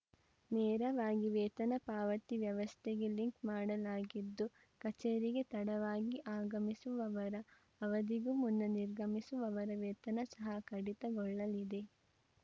ನೇರವಾಗಿ ವೇತನ ಪಾವತಿ ವ್ಯವಸ್ಥೆಗೆ ಲಿಂಕ್‌ ಮಾಡಲಾಗಿದ್ದು ಕಚೇರಿಗೆ ತಡವಾಗಿ ಆಗಮಿಸುವವರ ಅವಧಿಗೂ ಮುನ್ನ ನಿರ್ಗಮಿಸುವವರ ವೇತನ ಸಹ ಕಡಿತಗೊಳ್ಳಲಿದೆ